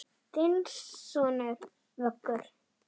Þinn sonur, Vöggur.